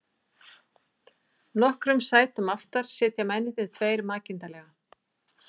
Nokkrum sætum aftar sitja mennirnir tveir makindalega.